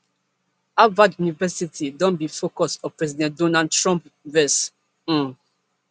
harvard university don be focus of president donald trump vex um